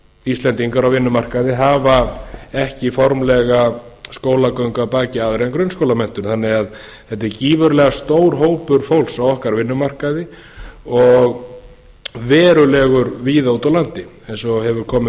íslendingar á vinnumarkaði hafa ekki formlega skólagöngu að baki aðra en grunnskólamenntun þetta er því gífurlega stór hópur fólks á okkar vinnumarkaði og verulegur víða úti á landi eins og hefur komið